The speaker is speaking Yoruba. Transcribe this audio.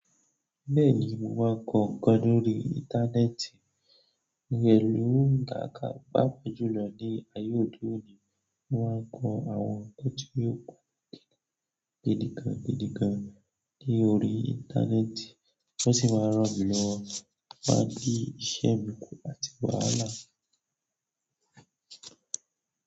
Bẹ́ẹ̀ni, wọ́n n kọ ǹkan lórí íńtánẹ́ẹ̀tì, pẹ́lú ǹká kan pàápàá jùlọ ní ayé òde òní wọ́n á kọ àwọn ǹkan tí yóò pan gidi gan gidi gan ní orí íńtánẹ́ẹ̀tì, wọ́n sì máa ràn mí lọwọ máa di iṣẹ́ mí kú àti wàhálà.